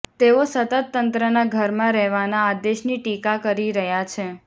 તેઓ સતત તંત્રના ઘરમા રહેવાના આદેશની ટીકા કરી રહ્યા છે